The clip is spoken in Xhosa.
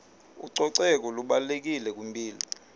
ucoceko lubalulekile kwimpilo